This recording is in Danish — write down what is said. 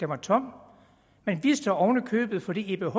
var tom man vidste det oven i købet fordi ebh